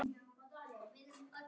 Hann var allur dofinn.